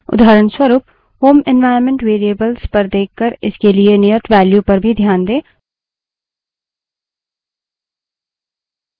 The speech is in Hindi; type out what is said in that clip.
उदाहरणस्वरूप home environment variable पर देखकर इसके लिए नियत value पर भी ध्यान दें